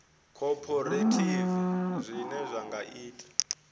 khophorethivi zwine zwa nga ita